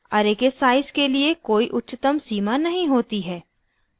* array के size के लिए कोई उच्चतम सीमा नहीं होती है